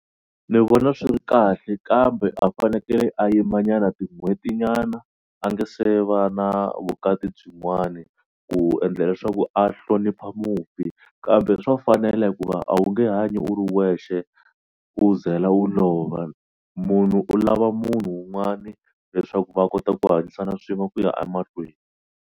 Ni vona swi ri kahle kambe a fanekele a yimanyana tin'hwetinyana a nga se va na vukati byinwani ku endla leswaku a hlonipha mufi kambe swa fanela hikuva a wu nge hanyi u ri wexe u ze la u lova. Munhu u lava munhu un'wani leswaku va kota ku hanyisana swin'we ku ya emahlweni.